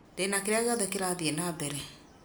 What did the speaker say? ndĩna kĩrĩa gĩothe kĩrathiĩ na mbere